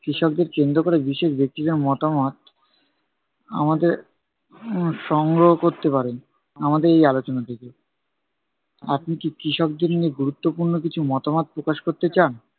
কৃষকদের কেন্দ্র ক'রে বিশেষ ব্যক্তিদের মতামত, আমাদের সংগ্রহ করতে পারেন, আমাদের এই আলোচনা থেকে। আপনি কি কৃষকদের নিয়ে গুরুত্বপূর্ণ কিছু মতামত প্রকাশ করতে চান?